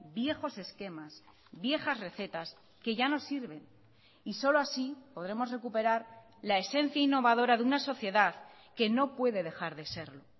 viejos esquemas viejas recetas que ya no sirven y solo así podremos recuperar la esencia innovadora de una sociedad que no puede dejar de serlo